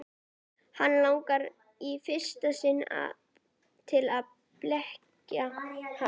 Hana langar í fyrsta sinn til að berja hann.